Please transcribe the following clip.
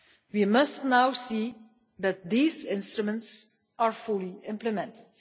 We must now see that these instruments are fully implemented.